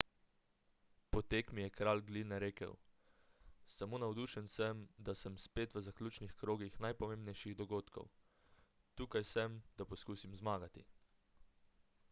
po tekmi je kralj gline rekel samo navdušen sem da sem spet v zaključnih krogih najpomembnejših dogodkov tukaj sem da poskusim zmagati